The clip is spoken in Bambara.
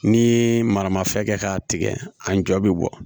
Ni maramafɛn kɛ k'a tigɛ a jɔ bi bɔ